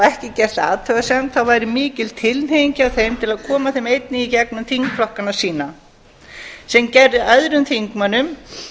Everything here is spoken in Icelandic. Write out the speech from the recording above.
ekki gert athugasemd væri mikil tilhneiging hjá þeim til að koma þeim einnig í gegnum þingflokkana sína sem gerði öðrum þingmönnum